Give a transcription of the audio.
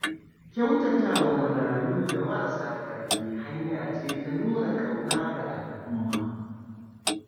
Kyautata wa marayu da marasa ƙarfi hanya ce ta nuna ƙauna ga al’umma.